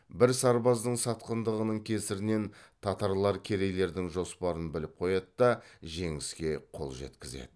бір сарбаздың сатқындығының кесірінен татарлар керейлердің жоспарын біліп қояды да жеңіске қол жеткізеді